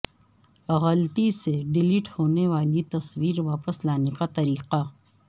غلطی سے ڈیلیٹ ہونے والی تصویر واپس لانے کا طریقہ